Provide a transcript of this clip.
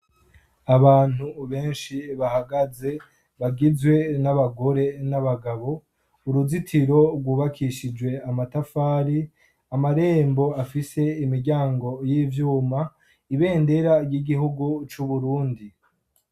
Abantu benshi bahagaze bagizwe n'abagore n'abagabo uruzitiro rwubakishijwe amatafari ,amarembo afise imiryango y'ivyuma, ibendera ry'igihugu c'Uburundi